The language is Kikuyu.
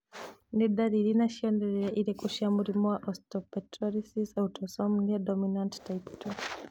Nĩ ndariri na cionereria irĩkũ cia mũrimũ wa Osteopetrosis autosomal dominant type 2?